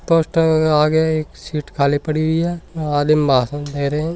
Poster आ गया है एक सीट खाली पड़ी है यहा भाषण दे रिया है।